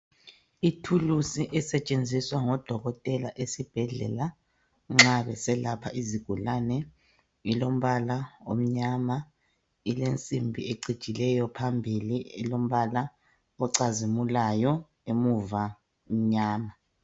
Ithuluzi esetshenziswa ngodokotela esibhedlela nxa beselapha izigulane olombala omnyama ilensimbi ecijileyo, phambili ilombala ocazimulayo, emuva imnyama.